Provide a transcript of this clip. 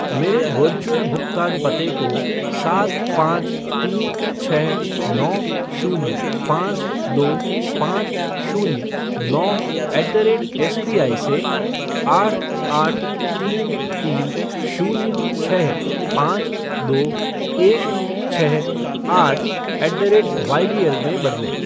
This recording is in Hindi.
मेरे वर्चुअल भुगतान पते को सात पाँच तीन छः नौ शून्य पाँच दो पाँच शून्य नौ ऐट द रेट एसबीआई से आठ आठ तीन तीन शून्य छः पाँच दो एक छः आठ ऐट द रेट वाईबीएल में बदलें